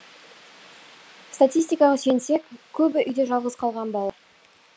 статистикаға сүйенсек көбі үйде жалғыз қалған бал